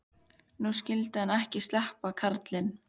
Nú skyldi hann ekki sleppa, karlinn.